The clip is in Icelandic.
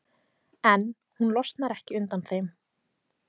En hún losnar ekki undan þeim.